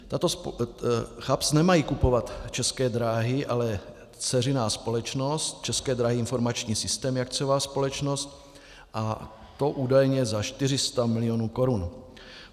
CHAPS nemají kupovat České dráhy, ale dceřiná společnost České dráhy - Informační systémy, akciová společnost, a to údajně za 400 milionů korun.